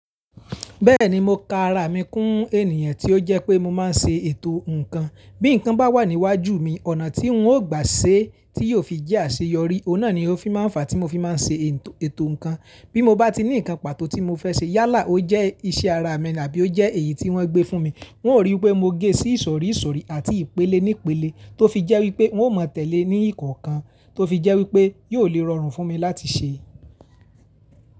Bẹ́ẹ̀ni, mo ka ara mi kún ènìyàn tí ó jẹ́ pé mo máa ń ṣe ètò nǹkan. Bí nǹkan bá wà níwájú mi, ọ̀nà tí n ó gbà ṣe tí yóò fi jẹ́ àṣeyọrí, ọ̀un nà ni ó fi máa ń fa tí mo fi máa ń ṣe ètò nǹkan. Bí mo bá ti ní nǹkan pàtó tí mo fẹ́ ṣe yálà ó jẹ́ iṣẹ́ ara mi àbí ó jẹ́ èyí tí wọ́n gbé fún mi, wọn ó ríi wípé mo gé sí ìsọ̀rí ìsọ̀rí àti ìpele nípele tó fi jẹ́ wípé wọn ó mọ̀ tẹ̀lé ní ìkọ̀ọ̀kan tó fi jẹ́ wípé yóò lè rọrùn fún mi láti ṣe.